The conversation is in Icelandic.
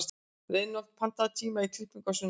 Reinhold, pantaðu tíma í klippingu á sunnudaginn.